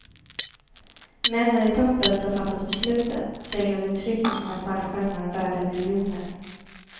Männen i toppen som fattat besluten seglade tryggt i sina fallskärmar värda miljoner.